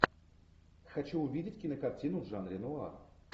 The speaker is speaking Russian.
хочу увидеть кинокартину в жанре нуар